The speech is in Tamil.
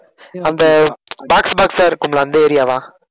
அந்த ஆஹ் box box ஆ இருக்கும் இல்ல அந்த area வா